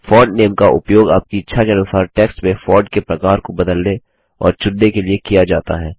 font name का उपयोग आपकी इच्छा के अनुसार टेक्स्ट में फॉन्ट के प्रकार को बदलने और चुनने के लिए किया जाता है